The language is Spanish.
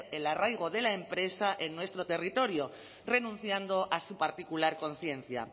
el arraigo de la empresa en nuestro territorio renunciando a su particular conciencia